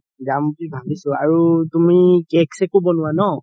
যাম বুলি ভাবিছো তুমি cake চেকো বনোৱা ন